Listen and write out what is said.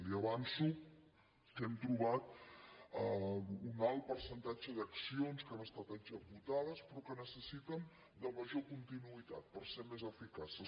li avanço que hem trobat un alt percentatge d’accions que han estat executades però que necessiten major continuïtat per ser més eficaces